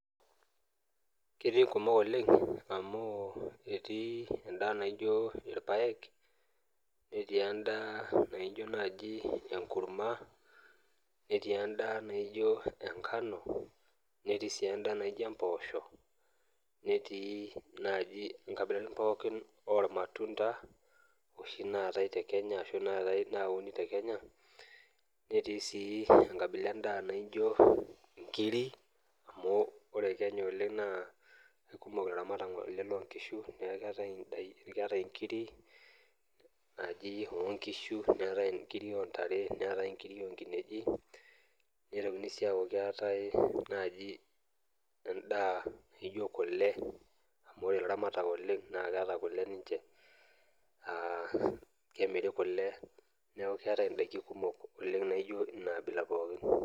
Ketii inkumok oleng amu ketii endaa naijo ilpaek, netii endaa naijo naaji enkurma, netii endaa naijo engano, netii sii enaijo empoosho, netii naaji inkabilaritin pookin olmatunda oshi naatai teKenya ashu nayauni teKenya netii sii enkabila endaa naijo inkiri. Ore Kenya naa kumok ilaramatak loo nkishu neaku keatai inkiri naaji o nkishu, o ntare neatai inkiri o nkinejik. Neitokini sii aaku keatai endaa naaji naijo kule, ore ilaramatak oleng naa keata kule ninche naa kemiri kule neaku keatai indaiki kumok naijo ina abila pookin.